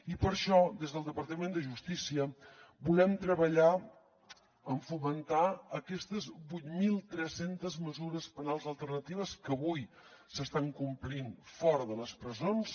i per això des del departament de justícia volem treballar per fomentar aquestes vuit mil tres cents mesures penals alternatives que avui s’estan complint fora de les presons